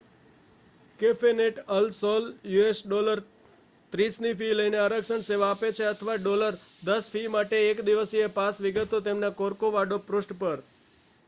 કેફેનેટ al Sol us$30 ની fee લઈને આરક્ષણ સેવા આપે છે અથવા $10 ફી માટે એક દિવસીય પાસ; વિગતો તેમના કોર્કોવાડો પૃષ્ઠ પર